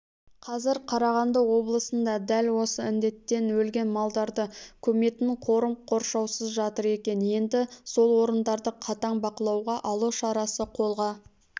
қазір қарағанды облысында дәл осы індеттен өлген малдарды көметін қорым қоршаусыз жатыр екен енді сол орындарды қатаң бақылауға алу шарасы қолға